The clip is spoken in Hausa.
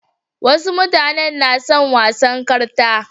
Wasu mutanen na son wasan karta.